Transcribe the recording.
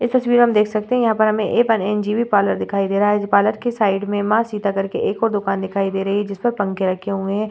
इस तस्वीर में हम देख सकते हैं यहाँ पर हमें ए वन इंजीनियर पार्लर दिखाई दे रहा है इस पार्लर की साइड में मां सीता करके एक और दुकान दिखाई दे रही है जिस पर पंखे रखे हुए है ।